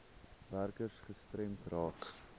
werkers gestremd raak